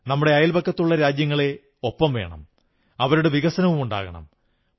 നമ്മുടെ അയൽപക്കത്തുള്ള രാജ്യങ്ങളെ ഒപ്പം വേണം അവരുടെ വികസനവുമുണ്ടാകണം